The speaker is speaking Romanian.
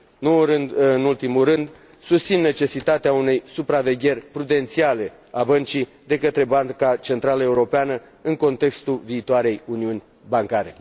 Nu în ultimul rând, susțin necesitatea unei supravegheri prudențiale a băncii de către Banca Centrală Europeană, în contextul viitoarei uniuni bancare.